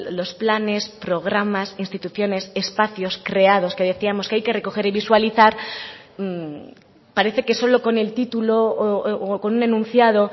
los planes programas instituciones espacios creados que decíamos que hay que recoger y visualizar parece que solo con el título o con un enunciado